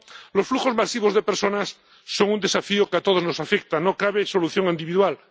Los flujos masivos de personas son un desafío que a todos nos afecta no cabe solución individual.